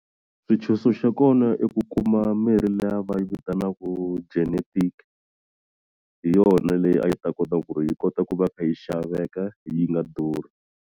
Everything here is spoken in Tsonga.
Swintshuxo xa kona i ku kuma mirhi liya va yi vitanaku genetic hi yona leyi a yi ta kota ku ri yi kota ku va kha yi xaveka yi nga durhi.